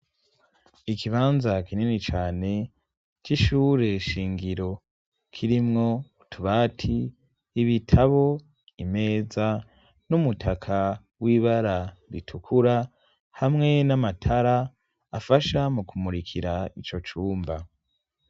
Ikibanza kinini cyane c'ishure shingiro kirimwo tubati ibitabo imeza n'umutaka w'ibara ritukura hamwe n'amatara afasha mu kumurikira ico cumba.